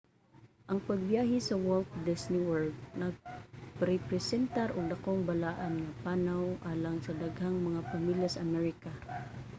ang pagbyahe sa walt disney world nagrepresentar og dakong balaan nga panaw alang sa daghang mga pamilya sa amerika